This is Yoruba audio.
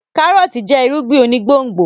kárọ́ọ̀tì jẹ́ irúgbìn onígbòǹgbò